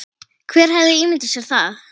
Hver hefði ímyndað sér það?